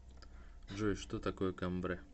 джой что такое камбре